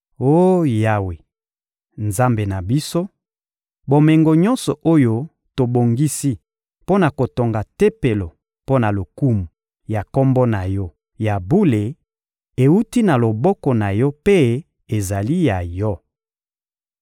Oh Yawe, Nzambe na biso, bomengo nyonso oyo tobongisi mpo na kotonga Tempelo mpo na lokumu ya Kombo na Yo ya Bule ewuti na loboko na Yo mpe ezali ya Yo.